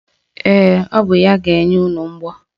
Ee, o bụ ya bụ ga-enye unu mgbọ.